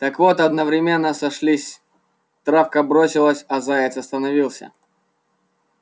так вот одновременно сошлись травка бросилась а заяц остановился